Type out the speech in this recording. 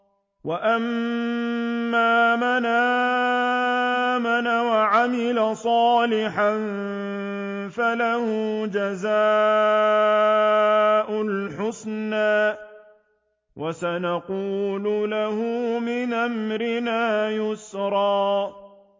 وَأَمَّا مَنْ آمَنَ وَعَمِلَ صَالِحًا فَلَهُ جَزَاءً الْحُسْنَىٰ ۖ وَسَنَقُولُ لَهُ مِنْ أَمْرِنَا يُسْرًا